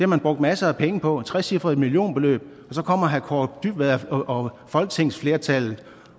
man brugt masser af penge på et trecifret millionbeløb og så kommer herre kaare dybvad og folketingsflertallet